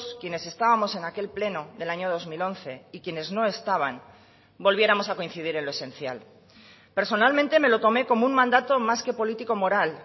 quienes estábamos en aquel pleno del año dos mil once y quienes no estaban volviéramos a coincidir en lo esencial personalmente me lo tomé como un mandato más que político moral